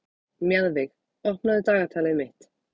Mjaðveig, opnaðu dagatalið mitt.